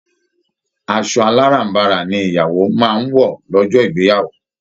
Asọ aláràm̀barà ni ìyàwó máa ń wọ lọ́jọ́ ìgbeyàwó